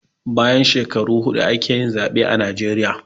Bayan shekaru huɗu ake yin zaɓe a najeriya